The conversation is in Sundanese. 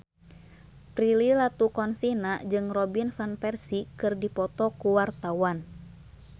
Prilly Latuconsina jeung Robin Van Persie keur dipoto ku wartawan